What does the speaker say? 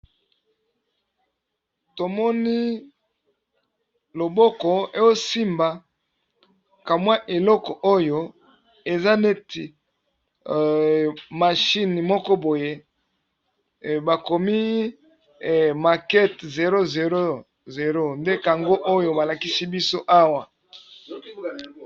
Tomoni loboko eo simba ka mwa eloko oyo eza neti machine moko boye bakomi makete 000, nde kango oyo ba lakisi biso awa.